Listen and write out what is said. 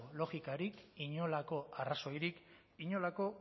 logikarik inolako arrazoirik inolako